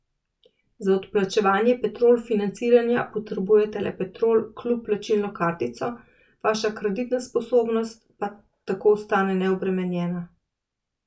Za odplačevanje Petrol financiranja potrebujete le Petrol klub plačilno kartico, vaša kreditna sposobnost pa tako ostane neobremenjena.